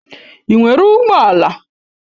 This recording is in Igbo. Ị nwere ụgbọ ala?